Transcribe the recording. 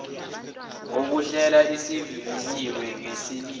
okuhlela asevivinyiwe ngalesimo